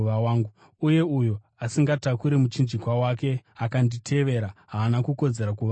Uye uyo asingatakuri muchinjikwa wake akanditevera haana kukodzera kuva wangu.